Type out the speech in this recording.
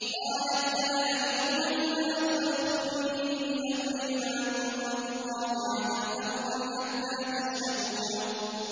قَالَتْ يَا أَيُّهَا الْمَلَأُ أَفْتُونِي فِي أَمْرِي مَا كُنتُ قَاطِعَةً أَمْرًا حَتَّىٰ تَشْهَدُونِ